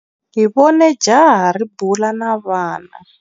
Hi vone jaha ri bula na vana.